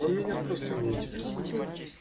он меня просто не интересуют